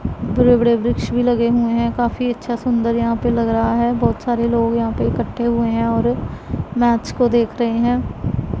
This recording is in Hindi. बड़े बड़े वृक्ष भी लगे हुए हैं काफी अच्छा सुंदर यहां पे लग रहा है बहुत सारे लोग यहां पे इकट्ठे हुए हैं और मैच को देख रहे हैं।